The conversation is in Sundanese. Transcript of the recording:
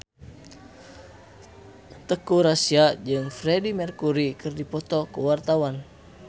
Teuku Rassya jeung Freedie Mercury keur dipoto ku wartawan